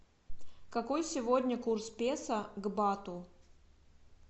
какой сегодня курс песо к бату